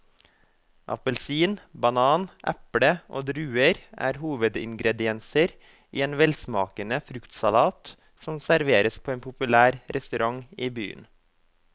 Appelsin, banan, eple og druer er hovedingredienser i en velsmakende fruktsalat som serveres på en populær restaurant i byen.